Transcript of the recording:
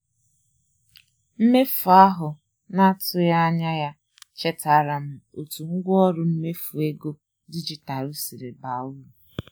Mmefu ahụ na-atụghị anya ya chetaara m otu ngwaọrụ mmefu ego dijitalụ si baa uru.